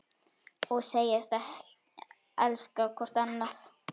Og segjast elska hvort annað.